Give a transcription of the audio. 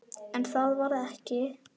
En það varð ekki.